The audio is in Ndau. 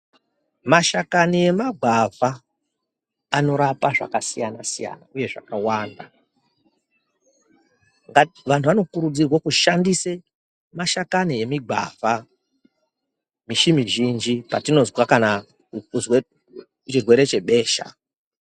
Mashakani emagwavha anorapa zvakasiyana siyana uye zvakawanda ngati vantu vanokurudzirwe kushandise mashakani emigwavha mishi mizhinji patinozwa kana kuzwe chirwere chebesha.